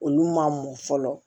Olu ma mɔ fɔlɔ